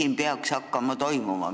Mis peaks hakkama toimuma?